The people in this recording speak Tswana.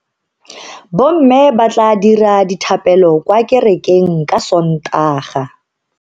Bomme ba tla dira dithapelo kwa kerekeng ka Sontaga.